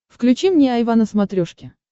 включи мне айва на смотрешке